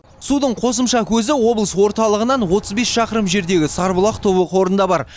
судың қосымша көзі облыс орталығынан отыз бес шақырым жердегі сарыбұлақ тобы қорында бар